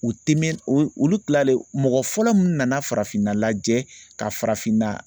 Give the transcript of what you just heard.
U tɛ mɛn u olu tilalen mɔgɔ fɔlɔ mun nana farafinna lajɛ ka farafinna